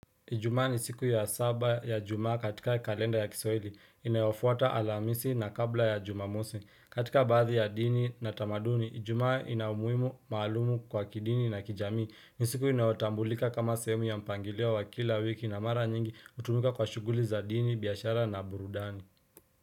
Ijumaa ni siku ya saba ya juma katika kalenda ya kiswahili. Inayofuata alhamisi na kabla ya jumamosi. Katika baadhi ya dini na tamaduni, ijumaa ni ina umuhimu maalum kwa kidini na kijamii. Ni siku inayotambulika kama sehemu ya mpangilio wa kila wiki na mara nyingi hutumika kwa shughuli za dini, biashara na burudani.